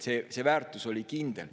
See väärtus oli kindel.